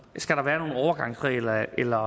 skal der være overgangsregler eller